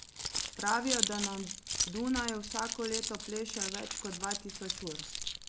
Pravijo, da na Dunaju vsako leto plešejo več kot dva tisoč ur.